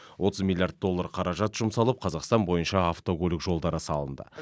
отыз миллиард доллар қаражат жұмсалып қазақстан бойынша автокөлік жолдары салынды